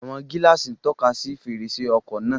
Àwọn gíláàsì ń tọ́ka sí fèrèsé ọkọ̀ náà